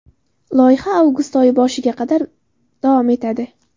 Loyiha avgust oyi boshiga qadar davom etadi.